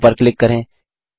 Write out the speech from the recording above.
area पर click करें